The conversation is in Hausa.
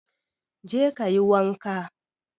Je kayi wanka.